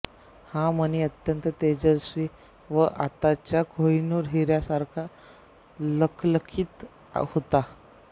हा मणी अत्यंत तेजस्वी व आताच्या कोहिनूर हिऱ्यासारखा लखलखीत होता